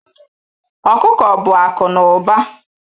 Okuko bụ akụ na ụba.